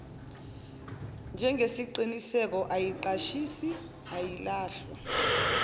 njengesiqiniseko ayiqashisi ayilahlwa